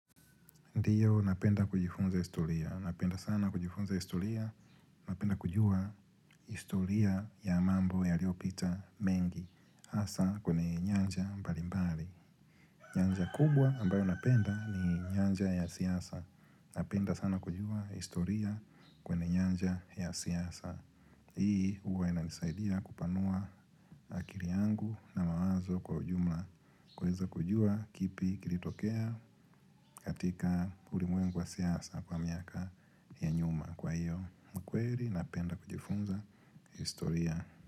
Ndiyo napenda kujifunza historiya, napenda sana kujifunza historiya, napenda kujua historiya ya mambo yaliyopita mengi, hasa kwenye nyanja mbalimbali. Nyanja kubwa ambayo napenda ni nyanja ya siasa, napenda sana kujua historiya kwenye nyanja ya siasa. Hii huwa inanisaidia kupanuwa akili yangu na mawazo kwa ujumla. Kuweza kujua kipi kilitokea katika ulimwengu wa siasa kwa miaka ya nyuma. Kwa hiyo ukweli napenda kujifunza historiya.